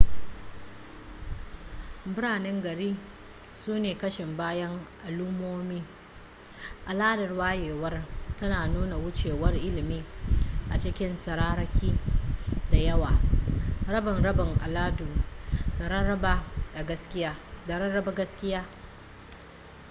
biranen gari sune kashin bayan al'ummomi al'adar wayewar tana nuna wucewar ilimi a cikin tsararraki da yawa rabe-raben al'adu da rarraba gaskiya